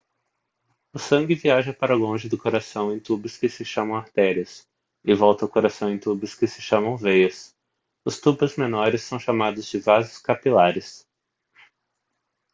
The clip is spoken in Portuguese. o sangue viaja para longe do coração em tubos que se chamam artérias e volta ao coração em tubos que se chamam veias os tubos menores são chamados de vasos capilares